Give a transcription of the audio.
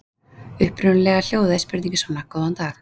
Upprunalega hljóðaði spurningin svona: Góðan dag.